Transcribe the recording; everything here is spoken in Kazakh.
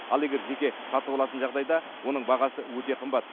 ал егер жеке сатып алатын жағдайда оның бағасы өте қымбат